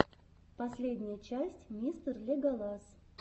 последняя часть мистер леголас